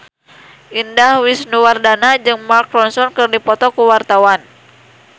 Indah Wisnuwardana jeung Mark Ronson keur dipoto ku wartawan